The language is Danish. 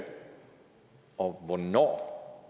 og hvornår